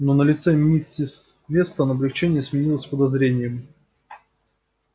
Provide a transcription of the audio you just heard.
но на лице миссис вестон облегчение сменилось подозрением